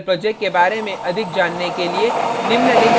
spoken tutorial project के बारे में अधिक जानने के लिए